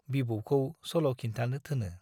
बिबौखौ सल' खिन्थानो थोनो।